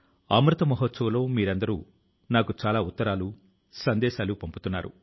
శ్రీ వరుణ్ సింహ్ కూడా మృత్యువు తో చాలా రోజులు ధైర్యంగా పోరాడారు